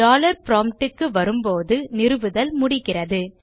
dollar prompt க்கு வரும்போது நிறுவுதல் முடிகிறது